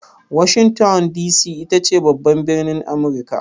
Washington D.C ita ce babban birnin Amurika.